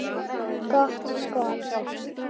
Gott skot.